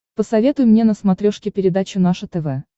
посоветуй мне на смотрешке передачу наше тв